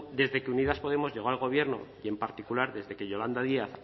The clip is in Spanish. desde que unidas podemos llegó al gobierno y en particular desde que yolanda díaz